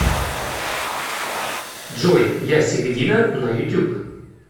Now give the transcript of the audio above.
джой ясередина на ютуб